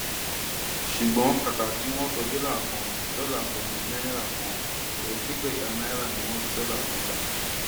ṣùgbọn kàkà kí wọn sọ dọlà kan dọlà kan di náírà kan ẹẹdẹgbẹta náírà ni wọn sọ dọlà kan dà